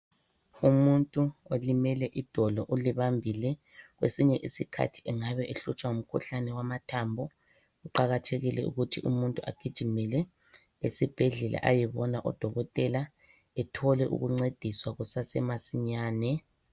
Umuntu olimele idolo ulibambile kwesinye isikhathi engabe ehlutshwa ngumkhuhlane wamathambo kuqakathekile ukuthi umuntu agijimele esibhedlela ayebona odokotela ethole ukuncediswa kusasemasinyane.